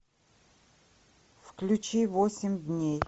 включи восемь дней